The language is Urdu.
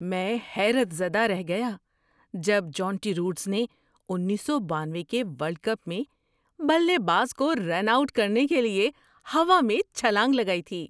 میں حیرت زدہ رہ گیا جب جونٹی روڈس نے انیس سو بانوے کے ورلڈ کپ میں بلے باز کو رن آؤٹ کرنے کے لیے ہوا میں چھلانگ لگائی تھی۔